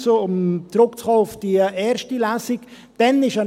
Um noch einmal auf die erste Lesung zurückzukommen: